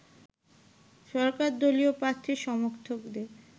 সরকার দলীয় প্রার্থীর সমর্থকদের